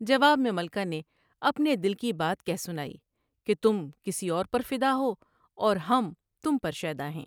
جواب میں ملکہ نے اپنے دل کی بات کہہ سنائی کہ تم کسی اور پر فدا ہو اور ہم تم پر شیدا ہیں ۔